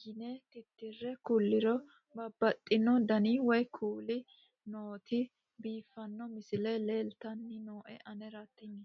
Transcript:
yine titire kulliro babaxino dani woy kuuli nooti biiffanno misile leeltanni nooe anera tino